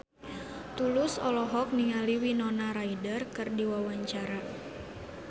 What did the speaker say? Tulus olohok ningali Winona Ryder keur diwawancara